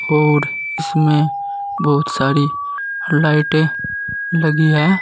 और इसमें बहुत सारी लाइटें लगी हैं।